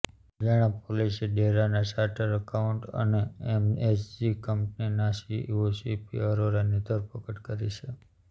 હરિયાણા પોલીસે ડેરાના charter accountant અને એમએસજી કંપનીના સીઈઓ સીપી અરોરાની ધરપકડ કરી છે